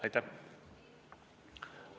Aitäh!